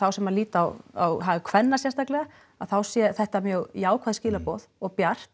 sem að líta á á hag kvenna sérstaklega að þá sé þetta mjög jákvæð skilaboð og bjart